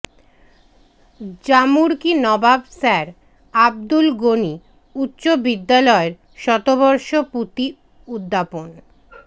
Jamurki Nawab sir Abdul Gani উচ্চ বিদ্যালয়ের শতবর্ষ পূতি উদ্যাপন